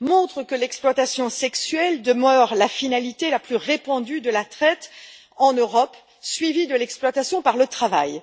montre que l'exploitation sexuelle demeure la finalité la plus répandue de la traite en Europe, suivie de l'exploitation par le travail.